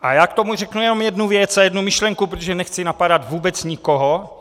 A já k tomu řeknu jenom jednu věc a jednu myšlenku, protože nechci napadat vůbec nikoho.